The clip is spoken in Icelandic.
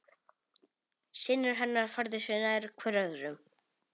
Synir hennar færðu sig nær hver öðrum.